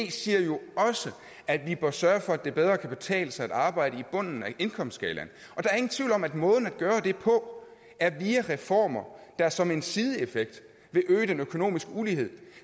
jo også at vi bør sørge for at det bedre kan betale sig at arbejde i bunden af indkomstskalaen og der er ingen tvivl om at måden at gøre det på er reformer der som en sideeffekt vil øge den økonomiske ulighed